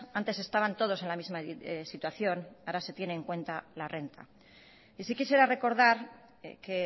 antes estaban todos en la misma situación ahora se tiene en cuenta la renta y sí quisiera recordar que